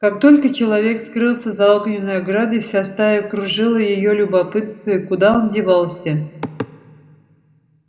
как только человек скрылся за огненной оградой вся стая окружила её любопытствуя куда он девался